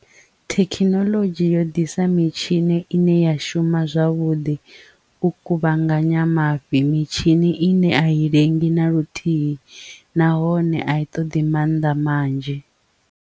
Thekhinoḽodzhi yo ḓisa mitshini ine ya shuma zwavhuḓi u kuvhanganya mafhi mitshini ine a i lengi na luthihi nahone a i toḓi mannḓa manzhi.